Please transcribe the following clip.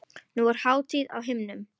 Nú er hátíð á himnum.